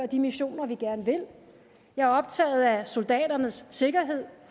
de missioner vi gerne vil jeg er optaget af soldaternes sikkerhed